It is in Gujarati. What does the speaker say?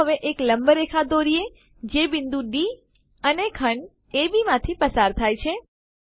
ચાલો હવે એક લંબરેખા દોરીએ જે બિંદુ ડી અને ખંડ અબ માંથી પસાર થાય છે